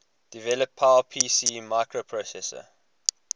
develop powerpc microprocessor